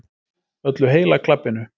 Öllu heila klabbinu.